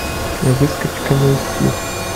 выскочка найти